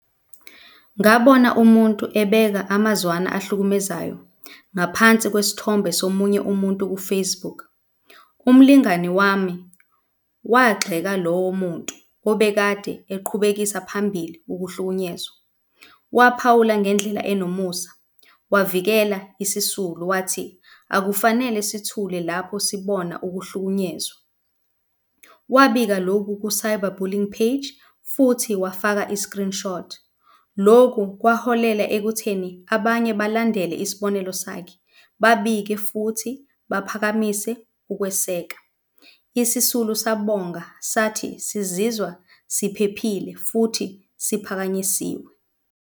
Ngabona umuntu ebeka amazwana ahlukumezayo ngaphansi kwesithombe somunye umuntu ku-Facebook. Umlingani wami wagxeka lowo muntu obekade eqhubekisa phambili ukuhlukunyezwa waphawula ngendlela enomusa wavikela isisulu wathi, akufanele sithule lapho sibona ukuhlukunyezwa. Wabika lokhu ku-cyber bullying page futhi wafaka i-screenshot. Loku kwaholela ekutheni abanye balandele isibonelo sakhe, babike futhi baphakamise ukweseka. Isisulu sabonga sathi sizizwa siphephile futhi siphakanyisiwe.